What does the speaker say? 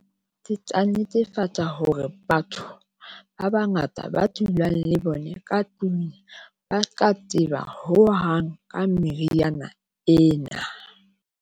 Ke tla netefatsa hore batho ba bangata ba dulang le bona ka tlung ba hohang ka meriana ena.